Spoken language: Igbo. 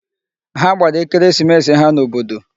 Ha gbara ekeresimesi ha n'obodo.